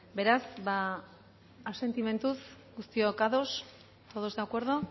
beraz asentimentuz guztiok ados todos de acuerdo